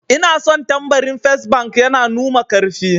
Ina son tambarin fes bank, yana numa karfi